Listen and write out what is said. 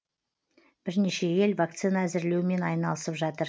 бірнеше ел вакцина әзірлеумен айналысып жатыр